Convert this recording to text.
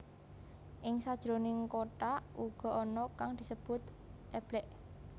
Ing sajroning kothak uga ana kang disebut eblek